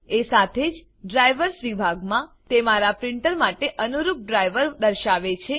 એ સાથે જ ડ્રાઇવર્સ વિભાગમાં તે મારા પ્રીંટર માટે અનુરૂપ ડ્રાઈવર દર્શાવે છે